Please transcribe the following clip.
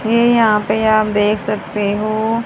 ये यहां पे आप देख सकते हो--